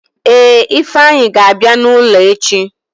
Ee, ifeanyi ga-abịa n'ụlọ echi.